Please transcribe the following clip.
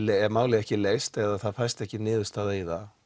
er málið ekki leyst eða það fæst ekki niðurstaða í það